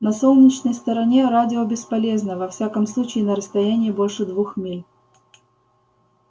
на солнечной стороне радио бесполезно во всяком случае на расстоянии больше двух миль